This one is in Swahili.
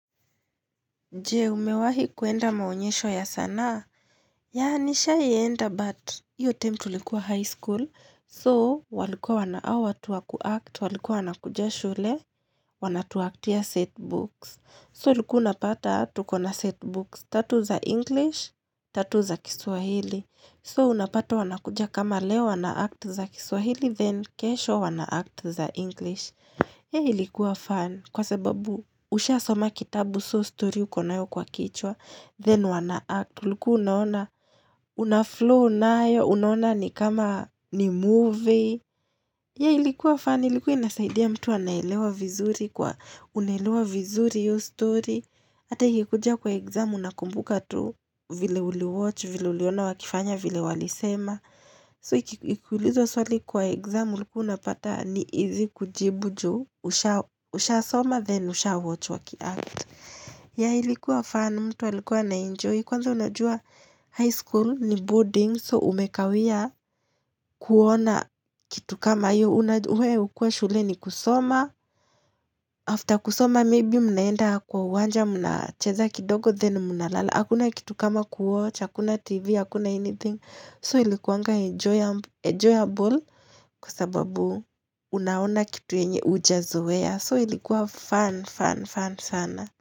Je, umewahi kwenda maonyesho ya sanaa? Ya, nishawahienda, but iyo time tulikuwa high school. So, walikuwa awa tuwa kuact, walikuwa wana kuja shule, wanatuaktia setbooks. So, ulikuanapata tuko na setbooks, tatu za English, tatu za kiswahili. So, unapata wanakuja kama leo wanaakti za kiswahili, then kesho wanaakti za English. Ilikuwa fun sana kwa sababu tayari ulikuwa umeshakisoma kitabu, so story ilikuwa kichwani mwako. Then wana-act huku unaangalia, una-flow na story kabisa—unajisikia kama unaangalia movie, tofauti tu ni kwamba tayari unajua kinachoendelea. Ilikuwa fun, ilikua inasaidia mtu anaelewa vizuri kwa unaelewq vizuri iyo story Ata ikikuja kwa exam unakumbuka tu vile uli watch, vile uliona walifanya vile walisema so ikuulizwa swali kwa exam unapata ni izi kujibu. Usha soma then usha watch waki act ya ilikuwa fan mtu walikuwa na enjoy kwanza unajua high school ni boarding so umekawia kuona kitu kama hiyo unajuwa umekuwa shuleni kusoma after kusoma maybe mnaenda kwa uwanja mnacheza kidogo then mnalala hakuna kitu kama ku watch hakuna tv hakuna anything so ilikuwa enjoyable kwa sababu. Unaona kitu yenye uja zoea, so ilikuwa fun fun fun sana.